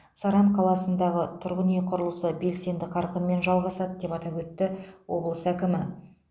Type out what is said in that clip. саран қаласындағы тұрғын үй құрылысы белсенді қарқынмен жалғасады деп атап өтті облыс әкімі